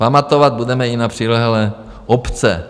Pamatovat budeme i na přilehlé obce."